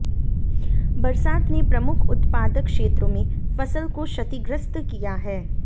बरसात ने प्रमुख उत्पादक क्षेत्रों में फसल को क्षतिग्रस्त किया है